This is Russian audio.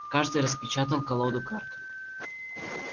каждый распечатал колоду карт